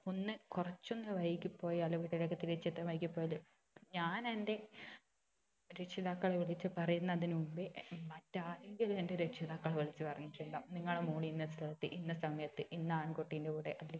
ഒന്ന് കുറച്ച് ഒന്ന് വൈകി പോയാല് വീട്ടിലേക്ക് തിരിച്ച് എത്താൻ വൈകി പോയാല് ഞാൻ എന്റെ രക്ഷിതാക്കളെ വിളിച്ച് പറയുന്നതിന് മുമ്പേ മറ്റ് ആരെങ്കിലും എന്റെ രക്ഷിതാക്കളെ വിളിച്ച് പറഞ്ഞിട്ടുണ്ടാവും നിങ്ങളെ മോൾ ഇന്ന സ്ഥലത്ത് ഇന്ന സമയത്ത് ഇന്ന ആൺകുട്ടിന്റെ കൂടെ